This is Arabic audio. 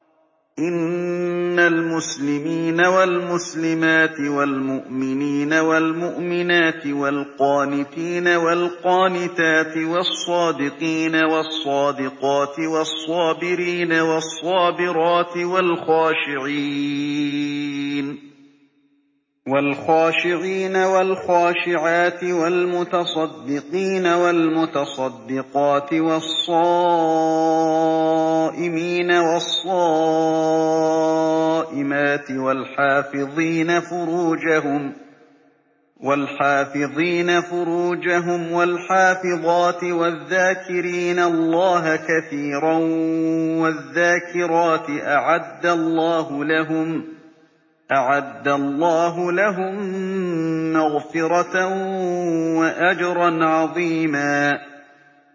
إِنَّ الْمُسْلِمِينَ وَالْمُسْلِمَاتِ وَالْمُؤْمِنِينَ وَالْمُؤْمِنَاتِ وَالْقَانِتِينَ وَالْقَانِتَاتِ وَالصَّادِقِينَ وَالصَّادِقَاتِ وَالصَّابِرِينَ وَالصَّابِرَاتِ وَالْخَاشِعِينَ وَالْخَاشِعَاتِ وَالْمُتَصَدِّقِينَ وَالْمُتَصَدِّقَاتِ وَالصَّائِمِينَ وَالصَّائِمَاتِ وَالْحَافِظِينَ فُرُوجَهُمْ وَالْحَافِظَاتِ وَالذَّاكِرِينَ اللَّهَ كَثِيرًا وَالذَّاكِرَاتِ أَعَدَّ اللَّهُ لَهُم مَّغْفِرَةً وَأَجْرًا عَظِيمًا